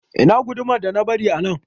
Ina gudumar da na bari a nan?